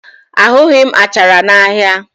Ahụghị m achara n'ahịa